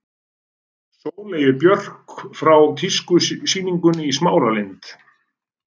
Sóleyju Björk frá tískusýningunni í Smáralind.